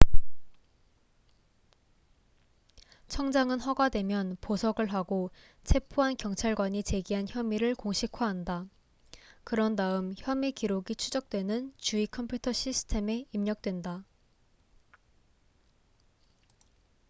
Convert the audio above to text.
청장은 허가되면 보석을 하고 체포한 경찰관이 제기한 혐의를 공식화한다 그런 다음 혐의 기록이 추적되는 주의 컴퓨터 시스템에 입력된다